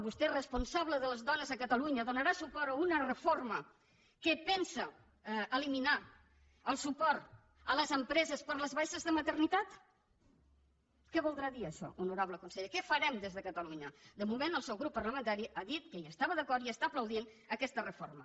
vostè és responsable de les dones a catalunya donarà suport a una reforma que pensa eliminar el suport a les empreses per les baixes de maternitat què voldrà dir això honorable conseller què farem des de catalunya de moment el seu grup parlamentari ha dit que hi estava d’acord i està aplaudint aquesta reforma